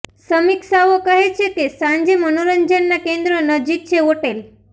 સમીક્ષાઓ કહે છે કે સાંજે મનોરંજનના કેન્દ્રો નજીક છે હોટેલ